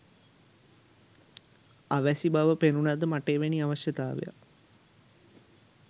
අවැසි බව පෙනුණද මට එවැනි අවශ්‍යතාවයක්